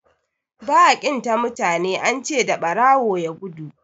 ba a ƙin ta mutane an ce da barawon ya gudu